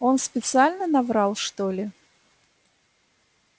он специально наврал что ли